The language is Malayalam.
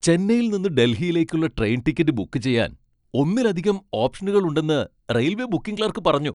ചെന്നൈയിൽ നിന്ന് ഡൽഹിയിലേക്കുള്ള ട്രെയിൻ ടിക്കറ്റ് ബുക്ക് ചെയ്യാൻ ഒന്നിലധികം ഓപ്ഷനുകൾ ഉണ്ടെന്ന് റെയിൽവേ ബുക്കിംഗ് ക്ലർക്ക് പറഞ്ഞു.